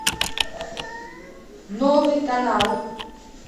новый канал